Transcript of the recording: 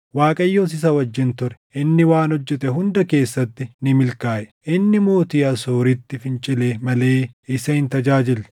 Waaqayyos isa wajjin ture; inni waan hojjete hunda keessatti ni milkaaʼe. Inni mootii Asooritti fincile malee isa hin tajaajille.